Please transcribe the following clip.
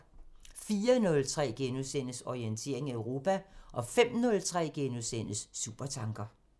04:03: Orientering Europa * 05:03: Supertanker *